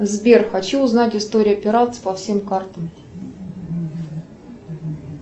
сбер хочу узнать историю операций по всем картам